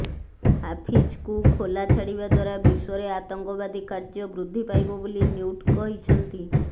ହାଫିଜ୍କୁ ଖୋଲା ଛାଡିବା ଦ୍ୱାରା ବିଶ୍ୱରେ ଆତଙ୍କବାଦୀ କାର୍ଯ୍ୟ ବୃଦ୍ଧି ପାଇବ ବୋଲି ନ୍ୟୁଟ କହିଛନ୍ତି